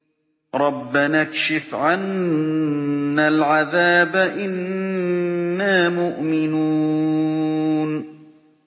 رَّبَّنَا اكْشِفْ عَنَّا الْعَذَابَ إِنَّا مُؤْمِنُونَ